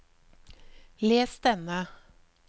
les denne